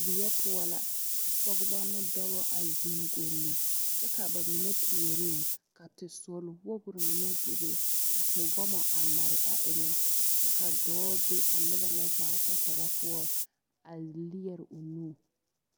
Weɛnpoɔ la ka pɔgeba ne dɔba a zeŋ golli kyɛ ka ba mine puoriŋ ka tesɔrewogri mine bebe ka tewɔmɔ a mare a eŋɛ kyɛ ka dɔɔ be a noba ŋa zaa kpakyaga poɔ a leɛre o nu